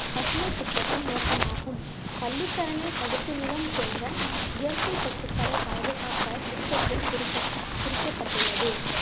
பசுமை திட்டத்தின் நோக்கமாகும் பள்ளிக்கரணை சதுப்பு நிலம் போன்ற இயற்கை சொத்துக்களை பாதுகாக்க திட்டத்தில் குறிப்பிட்~ குறிக்கப்பட்டுள்ளது